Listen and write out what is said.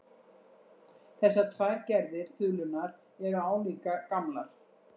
Þessar tvær gerðir þulunnar eru álíka gamlar.